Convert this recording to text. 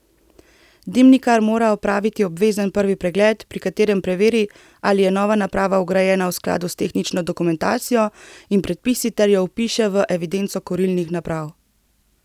Dimnikar mora opraviti obvezen prvi pregled, pri katerem preveri, ali je nova naprava vgrajena v skladu s tehnično dokumentacijo in predpisi ter jo vpiše v evidenco kurilnih naprav.